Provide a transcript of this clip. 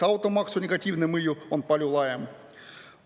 Automaksu negatiivne mõju on aga palju laiem.